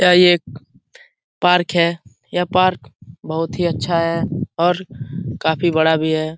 यह एक पार्क है यह पार्क बहुत ही अच्छा है और काफी बड़ा भी है।